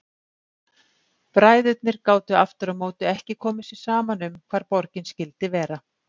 Bræðurnir gátu aftur á móti ekki komið sér saman um hvar borgin skyldi vera.